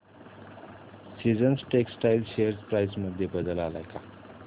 seasons textile share price मध्ये बदल आलाय का